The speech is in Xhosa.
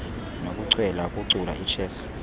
nokuchwela ukucula ichess